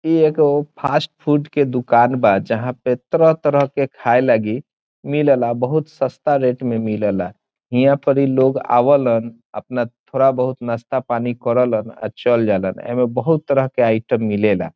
इ एगो fast food के दुकान बा जहां पर तरह-तरह के खाए लागी मिलेला बहुत सस्ता रेट में मिलेला हीया पर इ लोग आवालन अपना थोड़ा बहुत नाश्ता पानी करेला और चल जालन ए मे बहुत तरह के आइटम मिलेला।